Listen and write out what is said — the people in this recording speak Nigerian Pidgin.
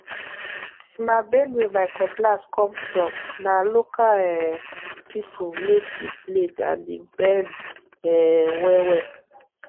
na benue my cutlass come fromna local um people made the blade and e bend um well well